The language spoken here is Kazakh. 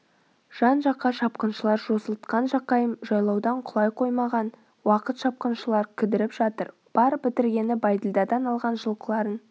жан-жаққа шапқыншылар жосылтқан жақайым жайлаудан құлай қоймаған уақыт шапқыншылар кідіріп жатыр бар бітіргені бәйділдадан алған жылқыларын